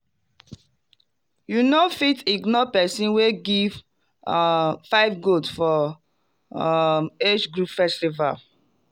you no fit ignore person wey give um five goat for um age group festival.